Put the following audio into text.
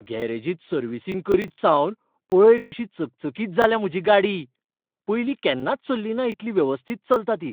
गॅरेजींत servicing करीत सावन पळय कशी चकचकीत जाल्या म्हजी गाडी, पयलीं केन्नाच चल्लिना इतली वेवस्थीत चलता ती!